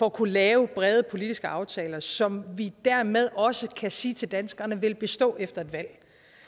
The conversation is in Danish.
at kunne lave brede politiske aftaler som vi dermed også kan sige til danskerne vil bestå efter et valg